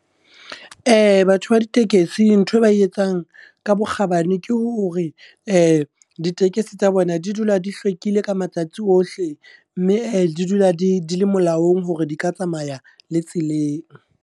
Batho ba ditekesi nthwe ba e etsang ka bokgabane ke hore, ditekesi tsa bona di dula di hlwekile ka matsatsi ohle. Mme di dula di di le molaong hore di ka tsamaya le tseleng.